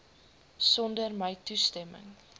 sonder my toestemming